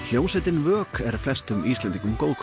hljómsveitin vök er flestum Íslendingum